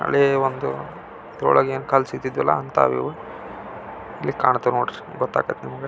ಹಳೆ ಒಂದು ಇಲ್ಲಿ ಕಾಂತಾವ ನೋಡ್ರಿ ಗೊತ್ತಾಗುತ್ತೆ ನಿಮಗ.